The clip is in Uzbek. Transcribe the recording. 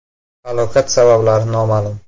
Halokat sabablari noma’lum.